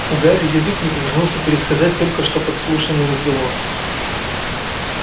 у гарри язык не повернулся пересказать только что подслушанный разговор